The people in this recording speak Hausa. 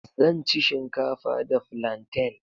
Zan ci shinkafa da flantain.